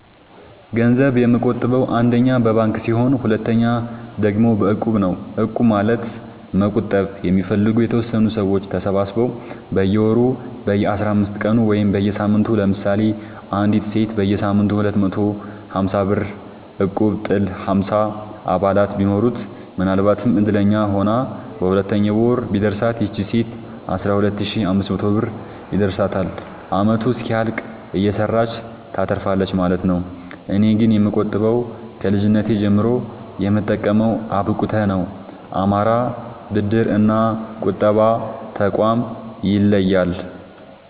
ገንዘብ የምቆ ጥበው አንደኛ በባንክ ሲሆን ሁለተኛ ደግሞ በእቁብ ነው እቁብ ማለት መቁጠብ የሚፈልጉ የተወሰኑ ሰዎች ተሰባስበው በየወሩ በየአስራአምስት ቀኑ ወይም በየሳምንቱ ለምሳሌ አንዲት ሴት በየሳምንቱ ሁለት መቶ ሀምሳብር እቁብጥል ሀምሳ አባላት ቢኖሩት ምናልባትም እድለኛ ሆና በሁለተኛው ወር ቢደርሳት ይቺ ሴት አስራሁለት ሺ አምስት መቶ ብር ይደርሳታል አመቱ እስኪያልቅ እየሰራች ታተርፋለች ማለት ነው። እኔ ግን የምቆጥበው ከልጅነቴ ጀምሮ የምጠቀመው አብቁተ ነው። አማራ ብድር እና ቁጠባ ጠቋም ይለያል።